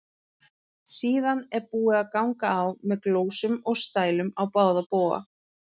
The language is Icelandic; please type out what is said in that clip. Síðan er búið að ganga á með glósum og stælum á báða bóga.